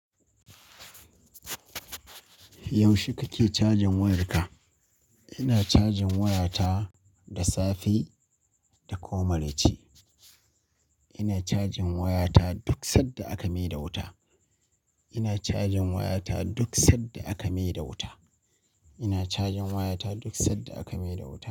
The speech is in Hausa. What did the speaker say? Yaushe kake cajin wayarka? Ina cajin wayata da safe da kuma maraici. Ina cajin wayata duk sanda aka maida wuta. Ina cajin wayata duk san da aka mai da wuta. Ina cajin wayata duk sai da aka mi da wuta.